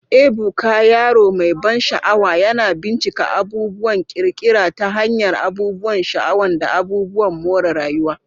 Ebuka, yaro mai ban sha'awa, yana bincika abubuwan ƙirƙira ta hanyar abubuwan sha'awa da abubuwan more rayuwa.